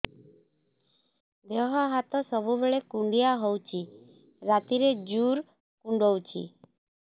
ଦେହ ହାତ ସବୁବେଳେ କୁଣ୍ଡିଆ ହଉଚି ରାତିରେ ଜୁର୍ କୁଣ୍ଡଉଚି